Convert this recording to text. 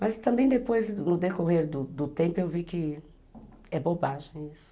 Mas também depois, no decorrer do do tempo, eu vi que é bobagem isso.